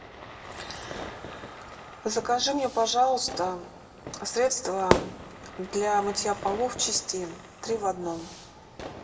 закажи мне пожалуйста средство для мытья полов чистин три в одном